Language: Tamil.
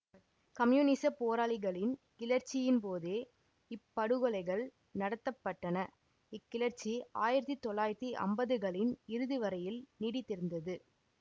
கம்யூனிசப் போராளிகளின் கிளர்ச்சியின் போதே இப்படுகொலைகள் நடத்த பட்டன இக்கிளர்ச்சி ஆயிரத்தி தொள்ளாயிரத்தி ஐம்பதுகளின் இறுதி வரையில் நீடித்திருந்தது